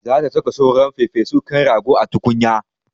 Za ta saka sauran farfesun kan rago a tukunya.